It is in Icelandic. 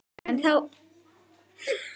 En þá skall ógæfan yfir.